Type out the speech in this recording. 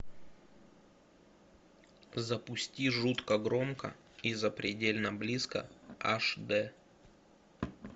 запусти жутко громко и запредельно близко аш д